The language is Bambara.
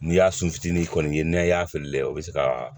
N'i y'a sin fitinin kɔni ye n'a y'a fili la o bɛ se ka